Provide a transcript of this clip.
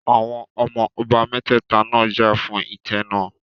Àwọn ọmọ ọba mẹ́tẹ̀ta náà jà fún ìtẹ́ náà